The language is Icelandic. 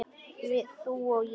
Við, þú og ég.